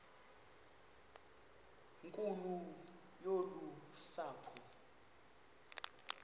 nkulu yolu sapho